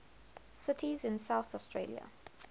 cities in south australia